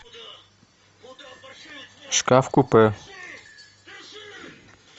шкаф купе